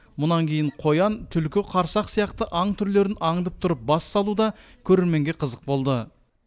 мұнан кейін қоян түлкі қарсақ сияқты аң түрлерін аңдып тұрып бас салу да көрерменге қызық болды